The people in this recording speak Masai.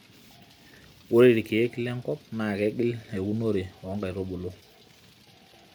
ore irkeek lenkop naa keingial euonore oo nkaitubulu